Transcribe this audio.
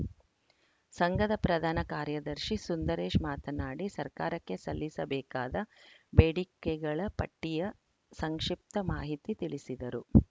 ಸಂಘದ ಪ್ರಧಾನ ಕಾರ್ಯದರ್ಶಿ ಸುಂದರೇಶ್‌ ಮಾತನಾಡಿ ಸರಕಾರಕ್ಕೆ ಸಲ್ಲಿಸಬೇಕಾದ ಬೇಡಿಕೆಗಳ ಪಟ್ಟಿಯ ಸಂಕ್ಷಿಪ್ತ ಮಾಹಿತಿ ತಿಳಿಸಿದರು